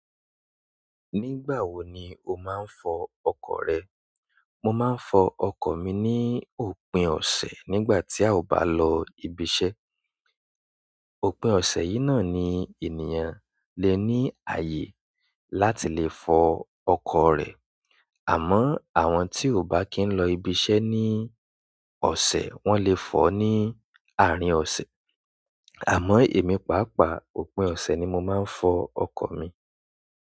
Nígbà wo ni o máa ń fọ ọkọ̀ rẹ? Mo máa ń fọ ọkọ̀ mi ní òpin ọ̀sẹ̀ nígbà tí a ò bá lọ ibiṣẹ́. Òpin ọ̀sẹ̀ yìí náà ni ènìyàn le ní ààyè láti lè fọ ọkọ̀ rẹ̀. Àmọ́ àwọn tí ò bá kín lọ ibiṣẹ́ ní ọ̀sẹ̀ wọ́n lè fọ ní àárín ọ̀sẹ̀. Àmọ́ èmi pàápàá òpin ọ̀sẹ̀ ni mo máa ń fọ ọkọ̀ mi.